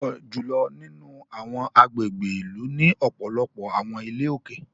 Púpọ jùlọ nínú awọn agbègbè ìlú ní ọpọlọpọ awọn ilé òkè